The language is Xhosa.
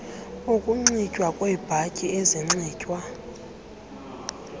ukunxitywa kweebhatyi ezinxitywa